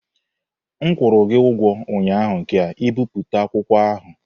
M kwụrụ gị ugwo ụnyaahụ ka ibipụta akwụkwọ ahụ!